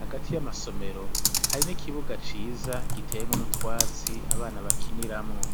Hagati y'amasomero hari n'ikibuga ciza giteyemwo n'utwatsi abana bakiniramwo.